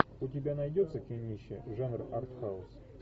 у тебя найдется кинище жанр артхаус